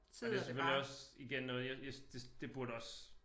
Men det selvfølgelig også igen noget jeg jeg det det burde også